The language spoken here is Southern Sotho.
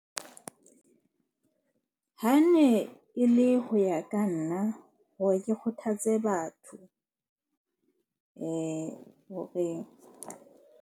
Ha ne e le ho ya ka nna hore ke kgothatse batho hore.